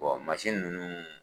mansin ninnu